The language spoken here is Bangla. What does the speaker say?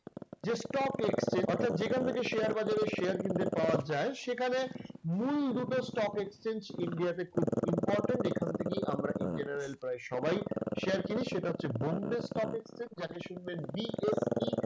যে stock exchange অর্থাৎ যেখান থেকে share বাজারের share কিনতে পাওয়া যায় সেখানে মূল দুটো stock exchange ইন্ডিয়াতে খুব important এখান থেকেই আমরা in general প্রায় সবাই share কিনি। সেটা হচ্ছে bombay stock exchange যাকে শুনবেন BSE